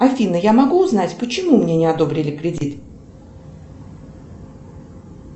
афина я могу узнать почему мне не одобрили кредит